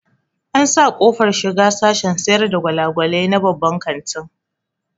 An sa ƙofar shiga sashen sayar da gwalagwalai na babban kantin